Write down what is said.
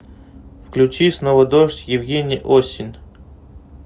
включи снова дождь евгений осин